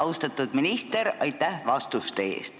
Austatud minister, aitäh vastuste eest!